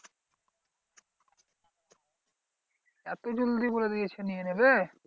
এত জলদি বলে দিয়েছে নিয়ে নেবে?